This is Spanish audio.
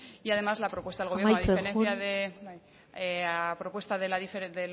y además la propuesta al gobierno amaitzen joan la diferencia